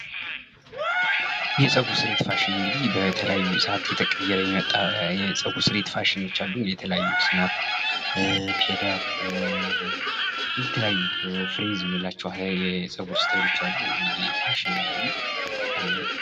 እየጸጉር ስሬት ፋሽን እንግዲህ በተለያዩ ሰዓት እየተቀየረ የመጣ የፀጉርስ ስሬት ፋሽኖች አሉ። የተለያዩ ስናፕ፣ ፌድ አፕ የተለያዩ የምንላቸው የፀጉር አሉ። እንግዲህ ፋሽን ነው እንግዲህ